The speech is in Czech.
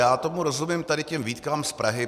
Já tomu rozumím, tady těm výtkám z Prahy.